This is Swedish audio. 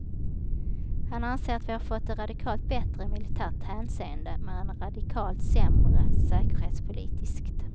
Han anser att vi har fått det radikalt bättre i militärt hänseende men radikalt sämre säkerhetspolitiskt.